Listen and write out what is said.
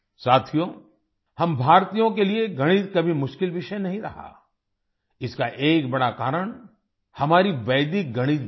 साथियो हम भारतीयों के लिए गणित कभी मुश्किल विषय नहीं रहा इसका एक बड़ा कारण हमारी वैदिक गणित भी है